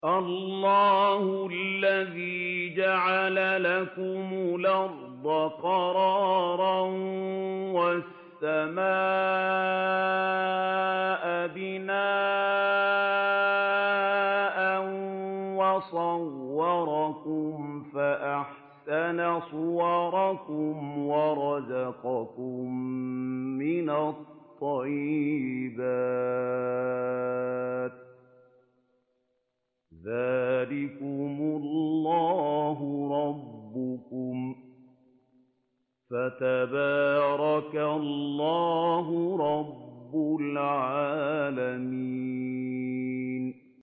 اللَّهُ الَّذِي جَعَلَ لَكُمُ الْأَرْضَ قَرَارًا وَالسَّمَاءَ بِنَاءً وَصَوَّرَكُمْ فَأَحْسَنَ صُوَرَكُمْ وَرَزَقَكُم مِّنَ الطَّيِّبَاتِ ۚ ذَٰلِكُمُ اللَّهُ رَبُّكُمْ ۖ فَتَبَارَكَ اللَّهُ رَبُّ الْعَالَمِينَ